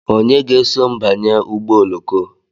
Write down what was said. Onye ga-eso m banye ụgbọ oloko?